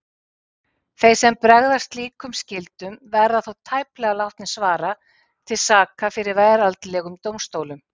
Þeir sem bregðast slíkum skyldum verða þó tæplega látnir svara til saka fyrir veraldlegum dómstólum.